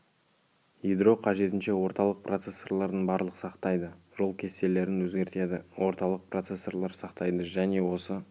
ядро қажетінше орталық процессорлардың барлық сақтайды жол кестелерін өзгертеді орталық процессорлар сақтайды және осы